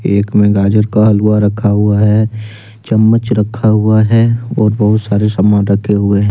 एक में गाजर का हलवा रखा हुआ है चम्मच रखा हुआ है और बहुत सारे समान रखे हुए हैं।